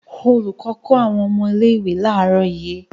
Olùkọ́ kọ́ àwọn ọmọ ilé-ìwé láàárọ̀ yìí.